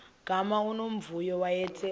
gama unomvuyo wayethe